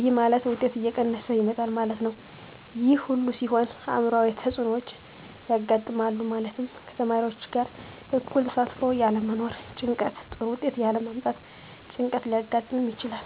ይህ ማለት ውጤት እየቀነሰ ይመጣል ማለት ነው። ይህ ሁሉ ሲሆን አዕምሯዊ ተፅዕኖዎች ያጋጥማሉ። ማለትም ከተማሪዎች ጋር እኩል ተሳትፎ ያለመኖር ጭንቀት ጥሩ ውጤት ያለ ማምጣት ጭንቀት ሊያጋጥም ይችላል።